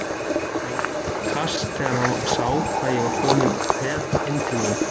Hann fékk kast þegar hann sá hvað ég var kominn með inn til mín.